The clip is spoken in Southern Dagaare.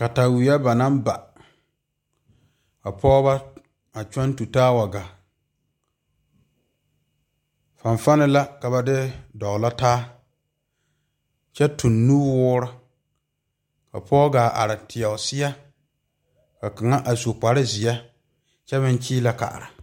Kataweɛ ba naŋ ba ka pɔɔbɔ a kyɔŋ tu taa wa gaa fanfane la ka ba de dɔglɔ taa wa gaa kyɛ tuŋ nuwoore ka pɔɔ gaa are teɛ o seɛ ka kaŋa a su kparezeɛ kyɛ meŋ kyiilɛ kaara.